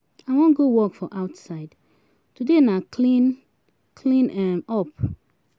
I wan go work for outside, today na clean clean um up.